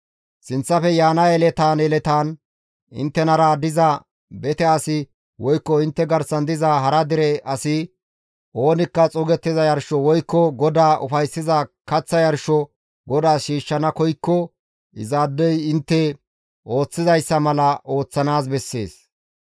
Sinththafe yaana yeletaan inttenara diza bete asi woykko intte garsan diza hara dere asi oonikka xuugettiza yarsho woykko GODAA ufayssiza kaththa yarsho GODAAS shiishshana koykko izaadeyka intte ooththizayssa mala ooththanaas bessees.